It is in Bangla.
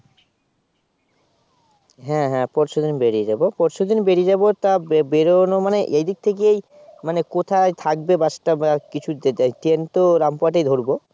হ্যাঁ হ্যাঁ পরশুদিন বেরিয়ে যাব পরশুদিন বেরিয়ে যাব তা বে বেরোনো মানে এদিক থেকেই মানে কোথায় থাকবে Bus টা বা কিছু যে যায় Train তো রামপুরহাট এই ধরব